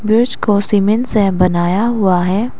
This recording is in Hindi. ब्रिज को सीमेंट से बनाया हुआ है।